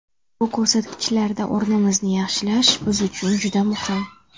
Bu ko‘rsatkichlarda o‘rnimizni yaxshilash biz uchun juda muhim.